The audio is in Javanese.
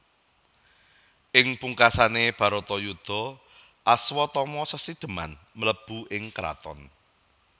Ing pungkasane Bharatayudha Aswatama sesidheman mlebu ing kraton